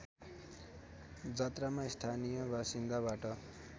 जात्रामा स्थानीय बासिन्दाबाट